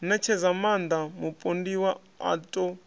ṋetshedza maaṋda mupondiwa a ṱo